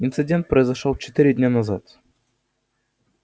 инцидент произошёл четыре дня назад